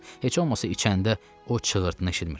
Heç olmasa içəndə o çığırtını eşitmirəm.